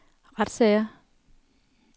retssager